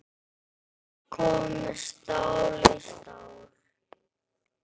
Allt komið stál í stál.